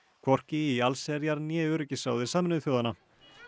hvorki í allsherjar né öryggisráði Sameinuðu þjóðanna